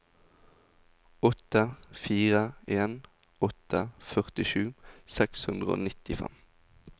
åtte fire en åtte førtisju seks hundre og nittifem